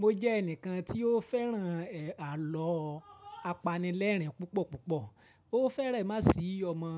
Mo jẹ́ ẹnìkan tí ó fẹ́ràn àlọ́ apanilẹ́rìn púpọ̀ púpọ̀. Ó fẹ́rẹ má sì ọmọ